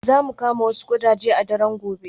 Za mu kama wasu ƙudaje a daren gobe.